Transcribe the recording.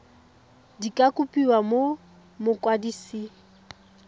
di ka kopiwa go mokwadise